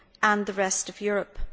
and the rest of Europe.